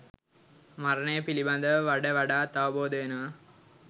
මරණය පිළිබඳව වඩ වඩාත් අවබෝධ වෙනවා.